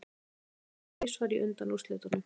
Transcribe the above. Kristinn stökk þrisvar í undanúrslitunum